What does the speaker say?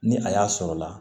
Ni a y'a sɔrɔla la